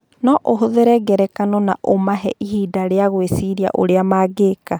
No ũhũthĩre ngerekano na ũmahe ihinda rĩa gwĩciria ũrĩa mangĩka.